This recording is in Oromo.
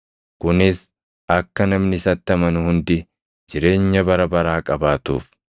Kunis akka namni isatti amanu hundi jireenya bara baraa qabaatuuf.”